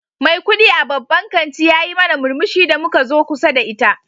Mai kudi a babban kanti yayi mana murmushi da muka zo kusa da ita.